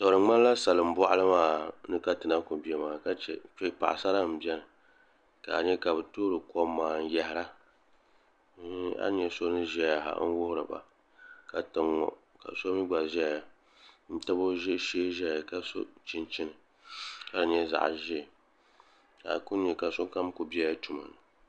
Di ŋmanila salin boɣali maa ni ka ti na ku bɛ maa ka chɛ kpɛ paɣasara n biɛni ka a nyɛ ka bi toori kom maa n yahara a ni nyɛ so ni ʒɛya n wuhuriba ka tiŋ ŋo ka so mii gba ʒɛya n tabi o shee ʒɛya ka so chinchini ka di nyɛ zaɣ ʒiɛ ka a ku nyɛ ka sokam ku biɛla tuma ni